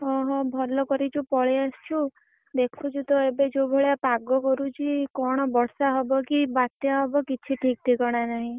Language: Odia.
ଓହୋ ଭଲ କରିଛୁ ପଳେଇ ଆସିଚୁ। ଦେଖୁଛୁ ତ ଏବେ ଯୋଉ ଭଳିଆ ପାଗ କରୁଛି କଣ ବର୍ଷା ହବ କି ବାତ୍ୟା ହବ କିଛି ଠିକ ଠିକଣା ନାହିଁ।